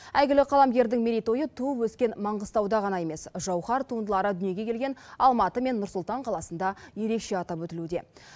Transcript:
әйгілі қаламгердің мерейтойы туып өскен маңғыстауда ғана емес жауһар туындылары дүниеге келген алматы мен нұр сұлтан қаласында ерекше атап өтілуде